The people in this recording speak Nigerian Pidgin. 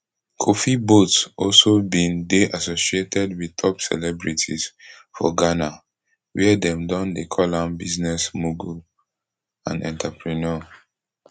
kofi boat also bin dey associated wit top celebrities for ghana wia dem don dey call am business mogul and entrepreneur